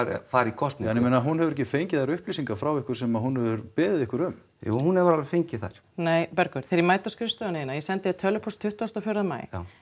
fara í kosningu en ég meina hún hefur ekki fengið þær upplýsingar frá ykkur sem hún hefur beðið ykkur um jú hún hefur alveg fengið þær nei Bergur þegar ég mæti á skrifstofuna þína ég sendi þér tölvupóst tuttugasta og fjórða maí